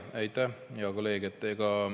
Aitäh, hea kolleeg!